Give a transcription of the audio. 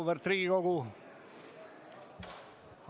Auväärt Riigikogu!